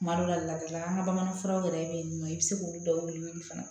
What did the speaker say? Kuma dɔ la ladilikan ka bamanan furaw yɛrɛ bɛ yen nɔ i bɛ se k'olu dɔw wili fana